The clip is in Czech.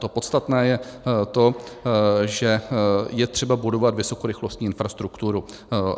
To podstatné je to, že je třeba budovat vysokorychlostní infrastrukturu.